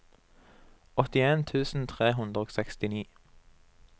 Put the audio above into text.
åttien tusen tre hundre og sekstini